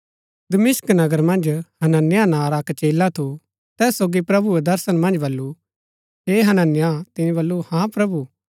दमिश्क नगर मन्ज हनन्याह नां रा अक्क चेला थू तैस सोगी प्रभुऐ दर्शन मन्ज बल्लू हे हनन्याह तिनी बल्लू हाँ प्रभु